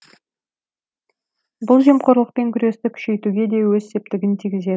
бұл жемқорлықпен күресті күшейтуге де өз септігін тигізеді